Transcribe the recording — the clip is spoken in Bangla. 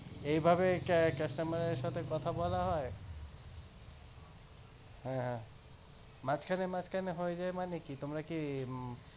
এইভাবে customer এর সাথে কথা বলা হয় হ্যা হ্যা মাঝখানে মাঝখানে হয়ে যায় মানে কি তোমরা কি